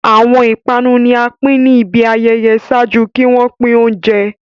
Awọn ipanu ni a pin ni ibi ayẹyẹ ṣaaju ki wọn pin ounjẹ